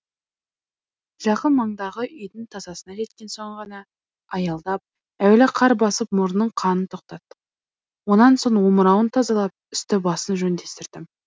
жақын маңдағы үйдің тасасына жеткен соң ғана аялдап әуелі қар басып мұрнының қанын тоқтаттық онан соң омырауын тазалап үсті басын жөндестірдім